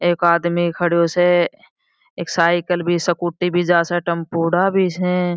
एक आदमी खड़ो स एक साइकिल भी स्कूटी जा स टपुड़ा भी स।